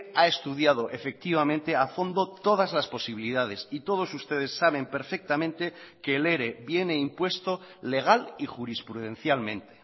ha estudiado efectivamente a fondo todas las posibilidades y todos ustedes saben perfectamente que el ere viene impuesto legal y jurisprudencialmente